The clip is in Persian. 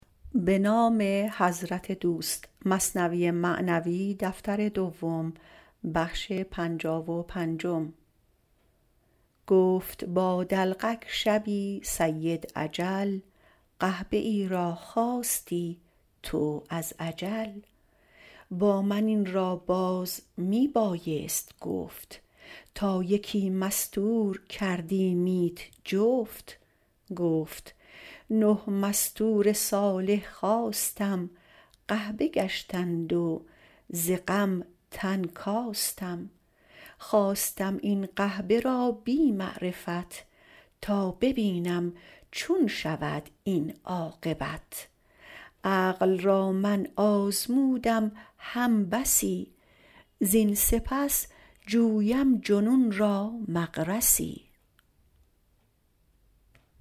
گفت با دلقک شبی سید اجل قحبه ای را خواستی تو از عجل با من این را باز می بایست گفت تا یکی مستور کردیمیت جفت گفت نه مستور صالح خواستم قحبه گشتند و ز غم تن کاستم خواستم این قحبه را بی معرفت تا ببینم چون شود این عاقبت عقل را من آزمودم هم بسی زین سپس جویم جنون را مغرسی